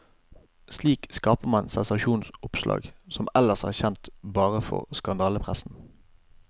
Slik skaper man sensasjonsoppslag som ellers er kjent bare fra skandalepressen.